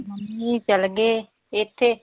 Mummy ਚਲਗੇ ਪੇਕੇ।